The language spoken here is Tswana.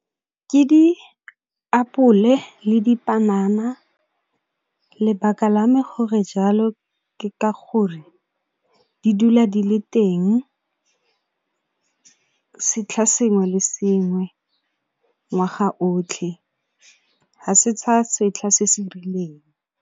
Ke diapole le dipanana, lebaka la me gore jalo ka gore, di dula di le teng setlha sengwe le sengwe ngwaga otlhe, ha se tsa setlha se se rileng.